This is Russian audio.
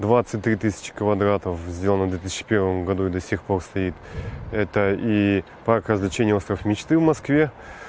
двадцать три тысячи квадратов сделано две тысячи первом году и до сих пор стоит это и пока значение остров мечты в москве